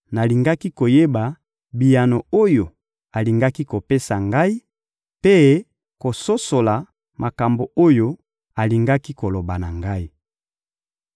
nalingaki koyeba biyano oyo alingaki kopesa ngai, mpe kososola makambo oyo alingaki koloba na ngai.